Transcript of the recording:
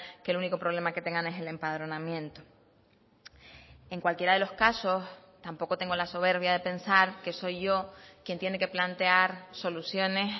que el único problema que tengan es el empadronamiento en cualquiera de los casos tampoco tengo la soberbia de pensar que soy yo quien tiene que plantear soluciones